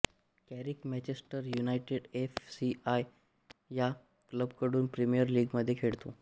Carrick Manchester United F C या क्लबकडून Premier लीगमध्ये खेळतो